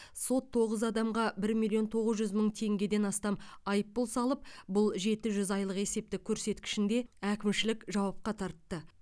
сот тоғыз адамға бір миллион тоғыз жүз мың теңгеден астам айыппұл салып бұл жеті жүз айлық есептік көрсеткішінде әкімшілік жауапқа тартты